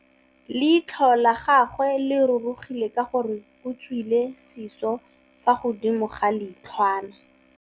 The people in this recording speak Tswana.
Leitlhô la gagwe le rurugile ka gore o tswile sisô fa godimo ga leitlhwana.